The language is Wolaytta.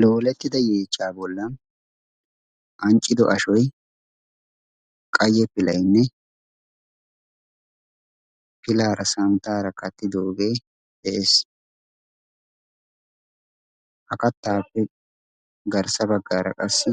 Loolettida yeechchaa bollan anccido ashoyi qayye pilaynne pilaara santtaara kattidoogee de"es. Ha kattaappe garssa baggaara qassi